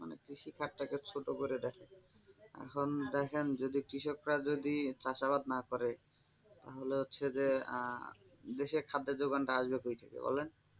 মানে কৃষিখাত তাকে ছোট করে দেখে এখন দেখেন যদি কৃষকরা যদি চাষাবাদ না করে তাহলে হচ্ছে যে আহ দেশে খাদ্যের যোগান টা আসবে কোই থেকে বলেন?